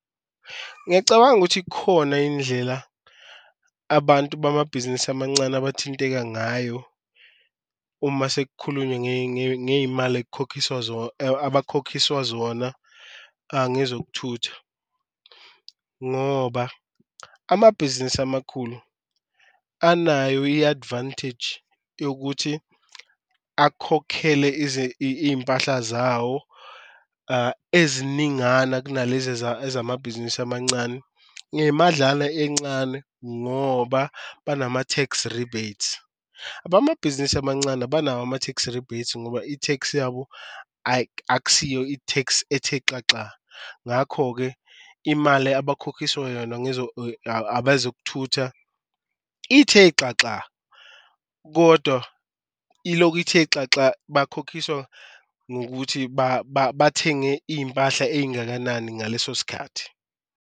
Ngiyacabanga ukuthi ikhona indlela abantu bamabhizinisi amancane abathinteka ngayo uma sekukhulunywa ngeyimali abakhokhiswa zona, ngezokuthutha. Ngoba amabhizinisi amakhulu anayo i-advantage yokuthi akhokhele impahla zawo eziningana kunalezi ezamabhizinisi amancane, ngemadlana encane ngoba banama-tax rebate. Abamabhizinisi amancane abanawo ama-tax rebate ngoba i-tax yabo akusiyo i-tax ethe xaxa, ngakho-ke imali abakhokhiswa yona abezokuthutha ithe xaxa. Kodwa iloku ithe xaxa bakhokhiswa ngokuthi bathenge impahla ey'ngakanani ngaleso sikhathi.